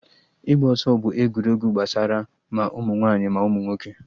Ịgba ọsọ bụ egwuregwu gbasara ma ụmụ nwaanyị ma ụmụ nwoke